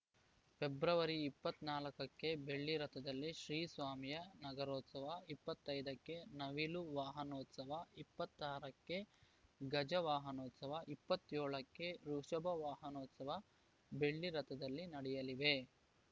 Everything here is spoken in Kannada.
ಫೆಬ್ರವರಿ ಇಪ್ಪತ್ತ್ ನಾಲ್ಕುಕ್ಕೆ ಬೆಳ್ಳಿ ರಥದಲ್ಲಿ ಶ್ರೀ ಸ್ವಾಮಿಯ ನಾಗರೋತ್ಸವ ಇಪ್ಪತ್ತ್ ಐದ ಕ್ಕೆ ನವಿಲು ವಾಹನೋತ್ಸವ ಇಪ್ಪತ್ತ್ ಆರ ಕ್ಕೆ ಗಜ ವಾಹನೋತ್ಸವ ಇಪ್ಪತ್ತ್ ಏಳಕ್ಕೆ ವೃಷಭ ವಾಹನೋತ್ಸವ ಬೆಳ್ಳಿ ರಥದಲ್ಲಿ ನಡೆಯಲಿವೆ